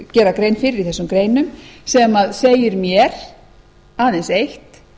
gera grein fyrir í þessum greinum sem segir mér aðeins eitt